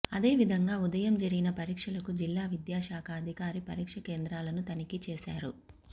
అదేవిధంగా ఉదయం జరిగిన పరీక్షలకు జిల్లా విద్యాశాఖ అధికారి పరీక్ష కేంద్రాలను తనిఖీ చేశారు